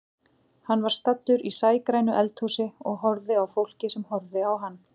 Hann var staddur í sægrænu eldhúsi og horfði á fólkið sem horfði á hann.